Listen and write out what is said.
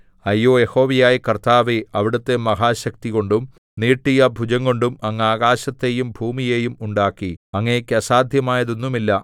അയ്യോ യഹോവയായ കർത്താവേ അവിടുത്തെ മഹാശക്തികൊണ്ടും നീട്ടിയ ഭുജംകൊണ്ടും അങ്ങ് ആകാശത്തെയും ഭൂമിയെയും ഉണ്ടാക്കി അങ്ങേക്ക് അസാദ്ധ്യമായത് ഒന്നുമില്ല